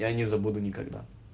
я не забуду никогда